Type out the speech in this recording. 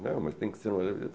Não, mas tem que ser